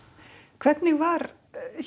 hvernig var